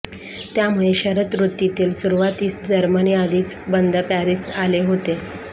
त्यामुळे शरद ऋतूतील सुरूवातीस जर्मन आधीच बंद पॅरिस आले होते